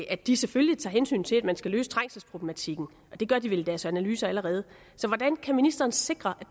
at de selvfølgelig tager hensyn til at man skal løse trængselsproblematikken det gør de vel i deres analyser allerede så hvordan kan ministeren sikre